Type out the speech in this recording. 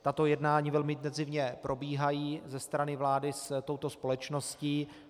Tato jednání velmi intenzivně probíhají ze strany vlády s touto společností.